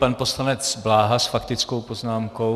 Pan poslanec Bláha s faktickou poznámkou.